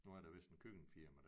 Nu er der vist en køkkenfirma